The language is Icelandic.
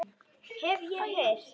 Hef ég heyrt.